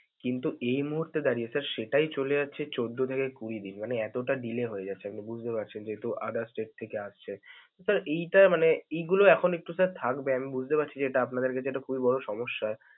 কিন্তু এই মুহূর্তে দাঁড়িয়ে sir সেটাই চলে যাচ্ছে চৌদ্দ থেকে কুড়ি দিন. মানে এতোটা delay হয়ে যাচ্ছে. আপনি বুঝতে পারছেন যেহেতু other state থেকে আসছে. sir এইটা মানে এইগুলো এখন একটু sir থাকবে, আমি বুঝতে পারছি যেটা আপানাদের কাছে এটা খুবই বড় সমস্যা।